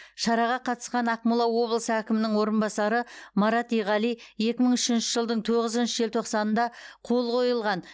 шараға қатысқан ақмола облысы әкімінің орынбасары марат иғали екі мың үшінші жылдың тоғызыншы желтоқсанында қол қойылған